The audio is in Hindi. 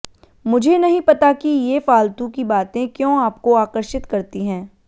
मुझे नहीं पता कि ये फालतू की बातें क्यों आपको आकर्षित करती हैं